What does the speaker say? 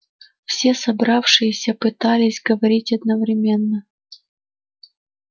все собравшиеся пытались говорить одновременно